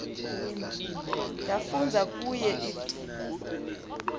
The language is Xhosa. yafunza kuye if